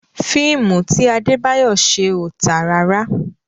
Fíìmù ti Adébáyọ̀ ṣe ò tà rárá.